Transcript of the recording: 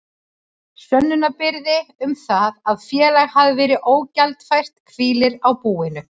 Sönnunarbyrði um það að félag hafi verið ógjaldfært hvílir á búinu.